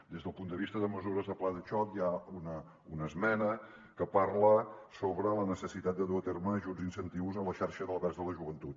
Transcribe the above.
des del punt de vista de mesures del pla de xoc hi ha una esmena que parla sobre la necessitat de dur a terme ajuts i incentius a la xarxa d’albergs de la joventut